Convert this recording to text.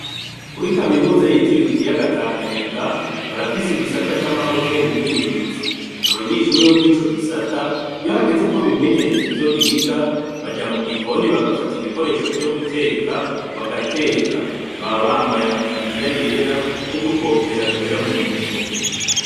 Kuri kaminuza yitiriwe ikiyaga tanganyika barafise igisata camahoteli ningenzi abanyeshure bo murico gisata iyo hageze ko bimenyereza ivyo biga baja mugikoni bagafata ibikoresho vyo guteka bagateka baba bambaye ama taburiya yera n’udukofero twera mu mutwe